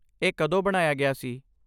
ਇਹ ਕਦੋਂ ਬਣਾਇਆ ਗਿਆ ਸੀ?